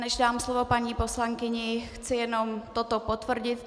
Než dám slovo paní poslankyni, chci jenom toto potvrdit.